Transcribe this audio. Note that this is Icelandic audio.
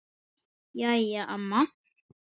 Jæja amma.